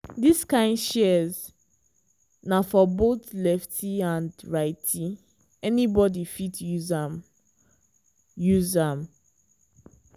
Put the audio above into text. dis kind shears na for both lefty and righty—anybody fit use am. use am.